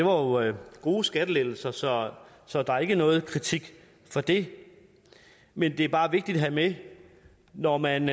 var jo gode skattelettelser så så der er ikke noget kritik for det men det er bare vigtigt at have med når man